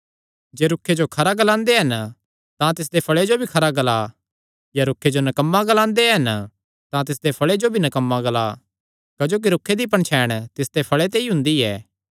जे रूखे जो खरा ग्लांदे हन तां तिसदे फल़े जो भी खरा ग्ला या रूखे जो नकम्मा ग्लांदे हन तां तिसदे फल़े जो भी नकम्मा ग्ला क्जोकि रूखे दी पणछैण तिसदे फल़े ते ई हुंदी ऐ